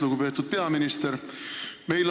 Lugupeetud peaminister!